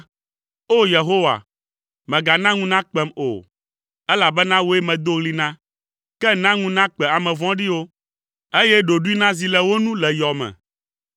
O! Yehowa, mègana ŋu nakpem o, elabena wòe medo ɣli na; ke na ŋu nakpe ame vɔ̃ɖiwo, eye ɖoɖoe nazi le wo nu le yɔme.